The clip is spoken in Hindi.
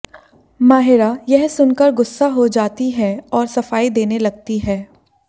माहिरा यह सुनकर गुस्सा हो जाती है और सफाई देने लगती है